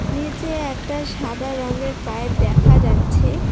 নিচে একটা সাদা রংয়ের পাইপ দেখা যাচ্ছে।